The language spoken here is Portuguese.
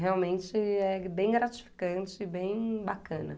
Realmente é bem gratificante e bem bacana.